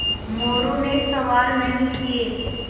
मोरू ने सवाल नहीं किये